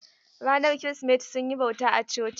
Ranar Kirsimeti sun yi bauta a coci.